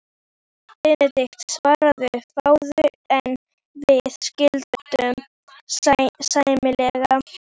Benedikt svaraði fáu, en við skildum sæmilega.